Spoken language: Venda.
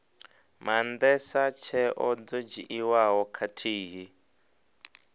maandesa tsheo dzo dzhiiwaho khathihi